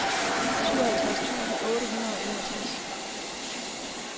syvoghalvtreds tusind otte hundrede og enogtres